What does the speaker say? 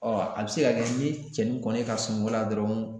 a bɛ se ka kɛ ni cɛnin kɔni ye ka sunɔgɔ la dɔrɔn